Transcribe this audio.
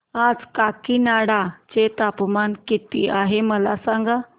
आज काकीनाडा चे तापमान किती आहे मला सांगा